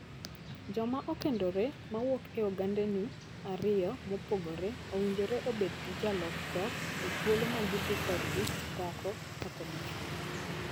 Joma okendore mawuok e ogandeni ariyo mopogore owinjore obed gi jalok dhok e thuolo ma gidhi korgi dhako kata dichwo.